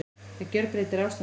Það gjörbreytir ástandinu